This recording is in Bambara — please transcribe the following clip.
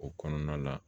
O kɔnɔna la